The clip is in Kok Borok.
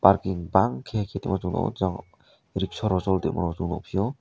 parking bangkhe khei tongmo chung nuko jang rikshawrok choli tongmorok nukphio.